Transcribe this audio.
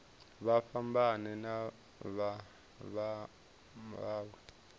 vha fhambane na vha mawe